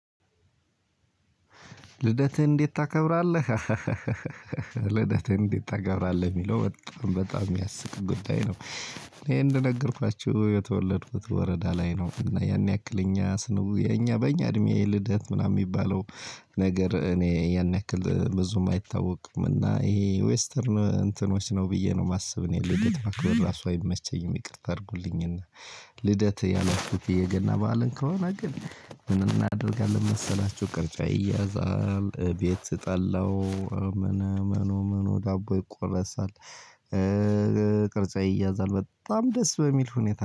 ልደትህ እንዴት ታከብራለህ? ልደትህ እንዴት ታከብራለህ የሚለው በጣም በጣም የሚያስቅ ጉዳይ ነው። እኔ እንደነገርኳችሁ የተወለድኩት ወረዳ ላይ ነው እና ያን ያክል እኛ ስንው የኛ በእኛ እድሜ ልደት ምናምን የሚባለው። ነገር እኔ ያን ያክል ብዙም አይታወቅምና ይሄ ዌስተርን እንትኖች ነው ብየ ነው የማስብ እኔ ልደት ማክበር እራሱ አይመቸኝም። ይቅርታ አድርጉልኝና። ልደት ያላችሁት የገና በዓልን ከሆነ ግን። ምን እናደርጋለን መሰላችሁ? ቅርጫ ይያዛል ቤት ጠላው እምን እመኑ እመኑ ዳቦ ይቆረሳል። ቅርጫ ይያዛል በጣም ደስ በሚል ሁኔታ